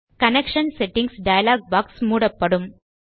connection settings dialog box மூடப்படும்